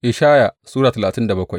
Ishaya Sura talatin da bakwai